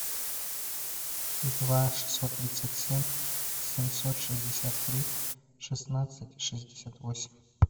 два шестьсот тридцать семь семьсот шестьдесят три шестнадцать шестьдесят восемь